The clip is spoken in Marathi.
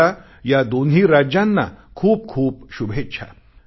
माझ्या या दोन्ही राज्यांना खूपखूप शुभेच्छा